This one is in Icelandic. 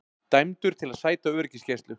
Dæmdur til að sæta öryggisgæslu